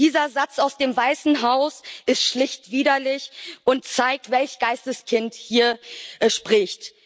Dieser Satz aus dem Weißen Haus ist schlicht widerlich und zeigt, welch Geistes Kind hier spricht.